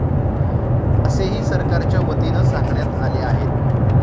असेही सरकारच्या वतीनं सांगण्यात आले आहेत.